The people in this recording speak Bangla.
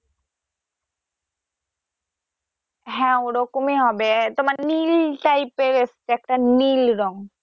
হ্যা ওরকমই হবে তোমার নীল type এর এসছে একটা নীল রং।